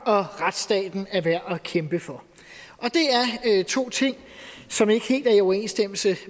og at retsstaten er værd at kæmpe for det er to ting som ikke helt er i overensstemmelse